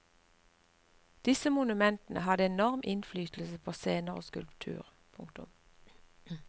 Disse monumentene hadde enorm innflytelse på senere skulptur. punktum